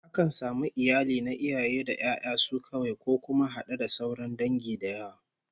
Akan samu iyali na iaye da 'ya'yan su kawai, ko kuma had'e da sauran dangi da yawa